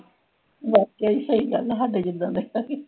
ਵਾਕੇ ਹੀ ਏਹੀ ਗਲ ਹਾਡੇ ਜੀਦਾ ਡੈ ਹਗੇ